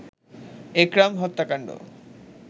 একরাম হত্যাকান্ড